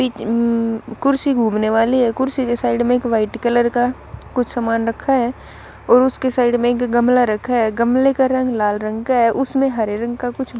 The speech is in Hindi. एक उम्म कुर्सी घूमने वाली है कुर्सी के साइड में एक वाइट कलर का कुछ सामान रखा है और उसके साइड में एक गमला रखा है गमले का रंग लाल रंग का है उसमें हरे रंग का कुछ--